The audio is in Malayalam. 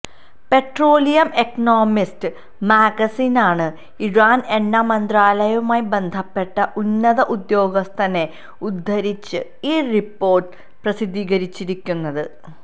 പെട്രോളിയം എക്കണോമിസ്റ്റ് മാഗസിനാണ് ഇറാന് എണ്ണ മന്ത്രാലയവുമായി ബന്ധപ്പെട്ട ഉന്നത ഉദ്യോഗസ്ഥനെ ഉദ്ധരിച്ച് ഈ റിപ്പോര്ട്ട് പ്രസിദ്ധീകരിച്ചിരിക്കുന്നത്